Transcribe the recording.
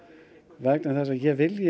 vegna þess að ég